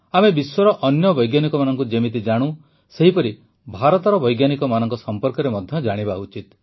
ଆମେ ବିଶ୍ୱର ଅନ୍ୟ ବୈଜ୍ଞାନିକମାନଙ୍କୁ ଯେମିତି ଜାଣୁ ସେହିପରି ଭାରତର ବୈଜ୍ଞାନିକମାନଙ୍କ ସମ୍ପର୍କରେ ମଧ୍ୟ ଜାଣିବା ଉଚିତ